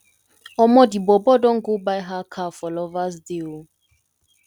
omo di bobo don go buy her car for lovers day o